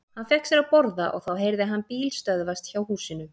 Hann fékk sér að borða og þá heyrði hann bíl stöðvast hjá húsinu.